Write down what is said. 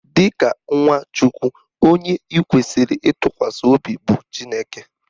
Dịka nwa Chukwu, onye ị kwesịrị ịtụkwasị obi bụ Chineke